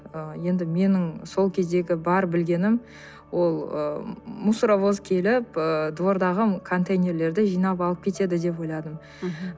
ы енді менің сол кездегі бар білгенім ол ы мусоровоз келіп ыыы двордағы контейнерлерді жинап алып кетеді деп ойладым мхм